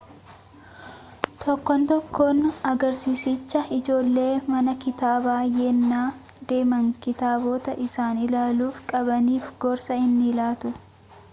tokkoon tokkoo agarsiisichaa ijoolleen mana kitaabaa yennaa deeman kitaabota isaan ilaaluu qabaniif gorsa ni laatu